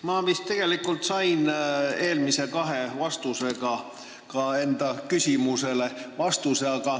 Ma vist tegelikult sain eelmise kahe vastusega ka enda küsimusele vastuse.